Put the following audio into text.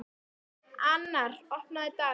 Annar, opnaðu dagatalið mitt.